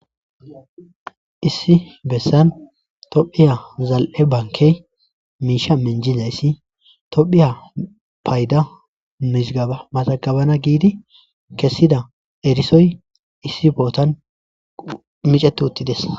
Issi bessan tophiya zal7e bankey miisha menjiza yssi tophiya payda mishgaba maxagabana giidi kessida erisoy issi bootan micetuuttidesa.